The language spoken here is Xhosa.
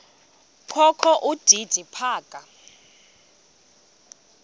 kokho udidi phaka